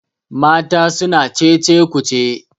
mata suna Cece ku ce